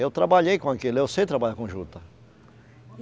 Eu trabalhei com aquilo, eu sei trabalhar com juta.